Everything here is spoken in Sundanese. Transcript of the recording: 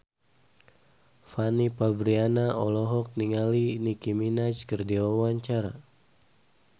Fanny Fabriana olohok ningali Nicky Minaj keur diwawancara